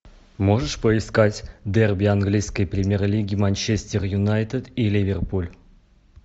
можешь поискать дерби английской премьер лиги манчестер юнайтед и ливерпуль